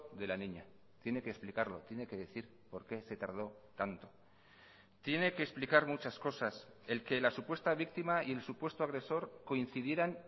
de la niña tiene que explicarlo tiene que decir por qué se tardo tanto tiene que explicar muchas cosas el que la supuesta víctima y el supuesto agresor coincidieran